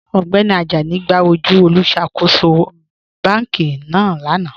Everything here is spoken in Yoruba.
Ọgbẹ́ni Àjánì gbà ojú olùṣákòsò bánkì náà lánà.